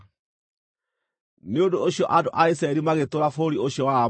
Nĩ ũndũ ũcio andũ a Isiraeli magĩtũũra bũrũri ũcio wa Aamori.